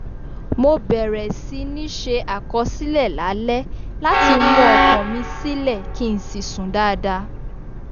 mo bẹ̀rẹ̀ sí ní ṣe àkọsílẹ̀ lálẹ́ láti mú ọkàn mi silẹ̀ kí n sì sùn dáadáa